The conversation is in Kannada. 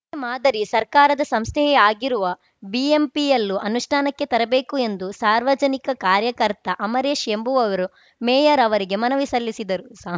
ಮಾದರಿ ಸರ್ಕಾರದ ಸಂಸ್ಥೆಯೇ ಆಗಿರುವ ಬಿಎಂಪಿಯಲ್ಲೂ ಅನುಷ್ಠಾನಕ್ಕೆ ತರಬೇಕು ಎಂದು ಸಾಮಾಜಿಕ ಕಾರ್ಯಕರ್ತ ಅಮರೇಶ್‌ ಎಂಬುವವರು ಮೇಯರ್‌ ಅವರಿಗೆ ಮನವಿ ಸಲ್ಲಿಸಿದ್ದರು ಸಾಮ್